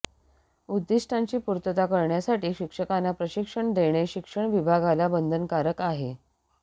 उद्दिष्टांची पूर्तता करण्यासाठी शिक्षकांना प्रशिक्षण देणे शिक्षण विभागाला बंधनकारक आहे